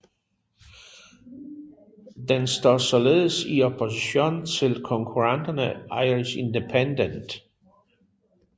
Den står således i opposition til konkurrenten Irish Independent